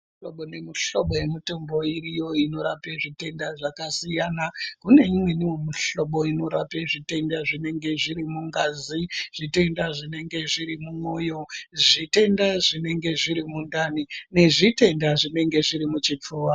Mihlobo nemihlobo yemitombo iriyo inorape zvitenda zvakasiyana. Kune imweniwo mihlobo inorape zvitenda zvinenge zviri mungazi, zvitenda zvinenge zviri mumwoyo, zvitenda zvinenge zviri mundani ,nezvitenda zvinenge zviri muchipfuva.